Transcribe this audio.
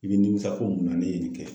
I be nimisa ko mun na ne ye nin kɛ